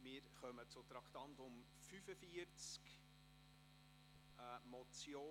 Wir kommen zum Traktandum 45, der Motion: